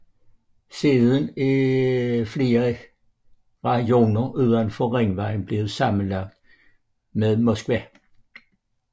Siden er flere rajoner udenfor ringvejen blevet sammenlagt med Moskva